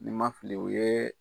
Ni ma fili, o ye